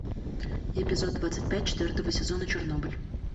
эпизод двадцать пять четвертого сезона чернобыль